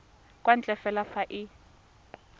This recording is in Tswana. kwa ntle fela fa e